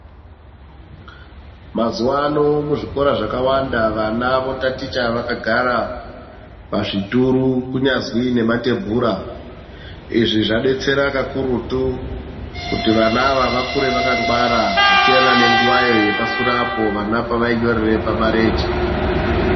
Mazuva ano muzvikora zvakawanda vana votatocha vakagara pazvituru kunyazwi nematebhura. Izvi zvabetsera kakurutu kuti vana ava vakure vakangwara zvasiyana nenguvayo yepasure apo vana pavainyorera pamarenje.